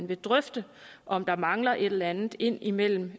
kan drøfte om der mangler et eller andet ind imellem